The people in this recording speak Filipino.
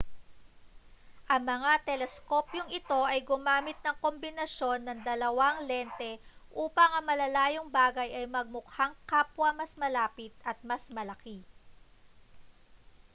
ang mga teleskopyong ito ay gumamit ng kombinasyon ng dalawang lente upang ang malalayong bagay ay magmukhang kapwa mas malapit at mas malaki